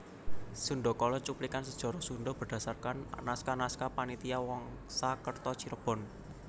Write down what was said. Sundakala cuplikan sejarah Sunda berdasarkan naskah naskah Panitia Wangsakerta Cirebon